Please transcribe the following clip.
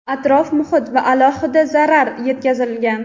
atrof-muhit va aholiga zarar yetkazilgan.